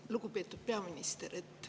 Lugupeetud peaminister!